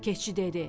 Keçi dedi: